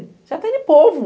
Você atende povo.